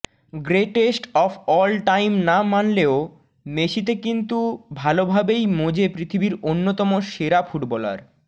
greatest of all time না মানলেও মেসিতে কিন্তু ভালোভাবেই মজে পৃথিবীর অন্যতম সেরা ফুটবলার